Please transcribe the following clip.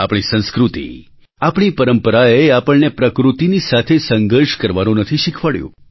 આપણી સંસ્કૃતિ આપણી પરંપરાએ આપણને પ્રકૃતિની સાથે સંઘર્ષ કરવાનું નથી શીખવાડ્યું